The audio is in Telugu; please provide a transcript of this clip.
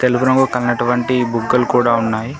తెలుపు రంగు కన్నటువంటి బుగ్గలు కూడా ఉన్నాయి.